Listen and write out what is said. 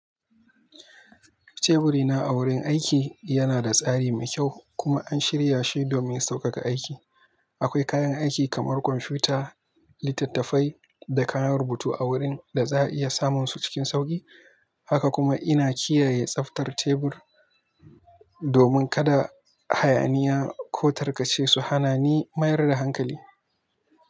Teburina a wurin aiki yana da tsari mai kyau kuma an shirya shi domin sauƙaƙa aiki. Akwai kayan aiki kamar kwamfuta, littattafai da kayan rubutu a wurin da za a iya samun su cikin sauƙi. Haka kuma ina kiyaye tsaftar tebur domin kada hayaniya ko tarkace su hana ni mayar da hankali.